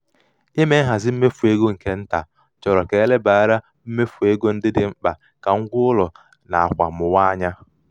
ime nhazi mmefu ego nke nta chọrọ ka e lebara mmefu ego ndị dị mkpa ka ngwaụlọ na akwa mwụwa anya.